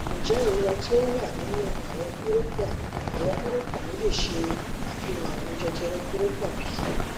njẹ irora ti o wa ninu awọn kórópọ̀n awọn kórópọ̀n mi le ṣe afihan arùn jẹjẹrẹ kórópọ̀n bi